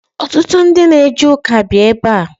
Ọtụtụ ndị na eje ụka bi ebe a.